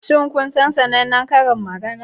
Shin kun san sanannen karin magana?